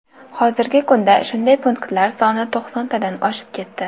Hozirgi kunda shunday punktlar soni to‘qsontadan oshib ketdi.